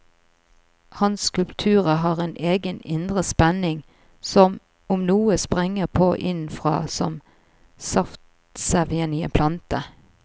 Hans skulpturer har en egen indre spenning, som om noe sprenger på innenfra, som saftsevjen i en plante.